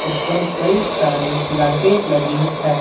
ऊपर कई सारी लाइटे लगी है।